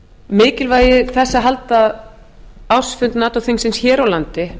mikilvægi þess að halda ársfund nato þingsins hér á landi